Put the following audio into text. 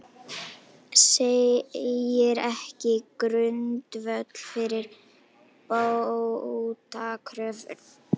Segir ekki grundvöll fyrir bótakröfu